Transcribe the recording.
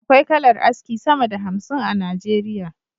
Akwai kalar aski sama da hamsin a nigeria